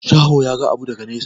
Shaho ya ga abu daga nesa.